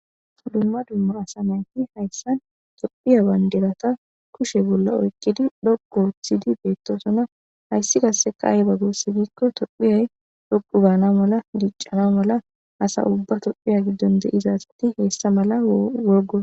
dumma dummo asa mayti hayssan tophiya baynderata kushe bolla oykkidi dhoqu wothidi beettoosona hayssi kasse ka ayeba gurse giikko tophiyay dhoqu baana mala diiccana mala asa ubba tophiya giddon de7izazati hessa mala worgo